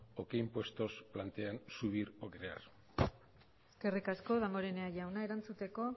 o qué impuestos plantean subir o crear eskerrik asko damborenea jauna erantzuteko